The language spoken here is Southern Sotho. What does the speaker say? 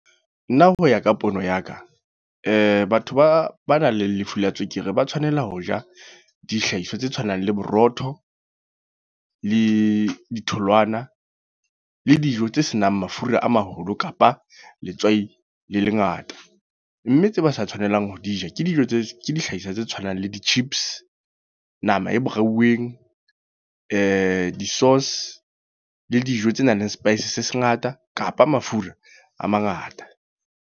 Nna ho ya ka pono ya ka, batho ba ba nang le lefu la tswekere. Ba tshwanela ho ja, dihlahiswa tse tshwanang le borotho, le ditholwana. Le dijo tse senang mafura a maholo kapa, letswai le lengata. Mme tse ba sa tshwanelang ho di ja, ke dijo tse ke dihlahiswa tse tshwanang le di-chips. Nama e brai-weng, di-sauce le dijo tse nang le spice se se ngata. Kapa mafura a mangata.